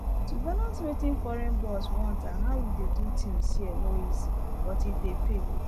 to balance wetin foreign boss want and how we dey do things here no easy but e dey pay